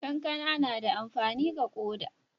kankana na da amfani ga koda